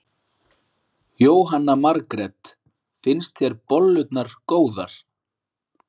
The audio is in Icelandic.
Jóhanna Margrét: Finnst þér bollurnar góðar?